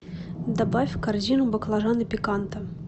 добавь в корзину баклажаны пиканта